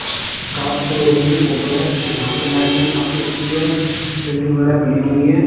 Car store room की photo है जहां पे लाइट में काफी अच्छी है बिल्डिंग वगैरह बनी हुई है।